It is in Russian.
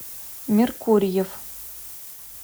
меркурьев